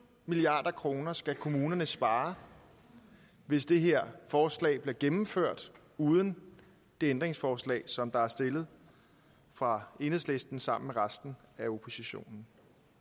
milliard kroner skal kommunerne spare hvis det her forslag bliver gennemført uden det ændringsforslag som der er stillet fra enhedslisten sammen med resten af oppositionen